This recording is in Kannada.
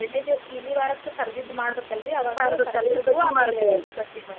ಎರಡನೆ ದಿವಸ ಇಲಿ ವಾರಕ ಕರ್ದದ್ದ ಮಾಡ್ಬೇಕ ಅಲ್ರಿ ಬಜಿ ಮಾಡ್ತೇರಿ.